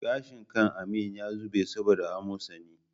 Gashin kan Amin ya zube saboda amosani